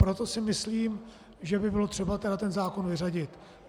Proto si myslím, že by bylo třeba tento zákon vyřadit.